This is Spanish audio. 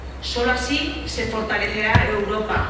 Solo así se fortalecerá Europa